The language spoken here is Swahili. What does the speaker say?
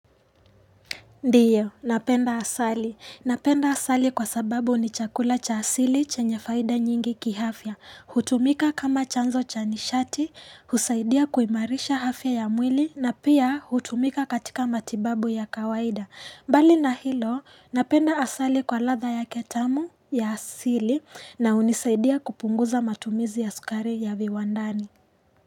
Ndiyo, napenda asali. Napenda asali kwa sababu ni chakula cha asili chenye faida nyingi kiafya. Hutumika kama chanzo chanishati, husaidia kuimarisha afya ya mwili na pia hutumika katika matibabu ya kawaida. Bali na hilo, napenda asali kwa latha yake tamu ya asili na hunisaidia kupunguza matumizi ya sukari ya viwandani.